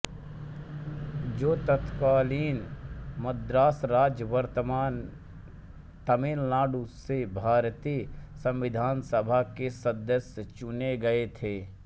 जो तत्कालीन मद्रास राज्य वर्तमान तमिलनाडु से भारतीय संविधान सभा के सदस्य चुने गए थे